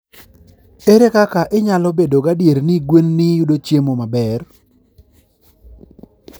Ere kaka inyalo bedo gadier ni gwenini yudo chiemo maber?